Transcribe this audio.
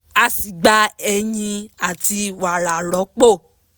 a sì gba eyin àti wara rọ́pò